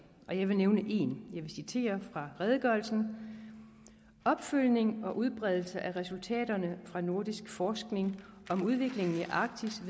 og jeg vil nævne en jeg citerer fra redegørelsen opfølgning og udbredelsen af resultaterne fra nordisk forskning om udviklingen i arktis